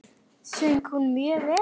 Söng hún mjög vel.